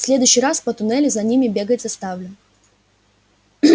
в следующий раз по туннелю за ними бегать заставлю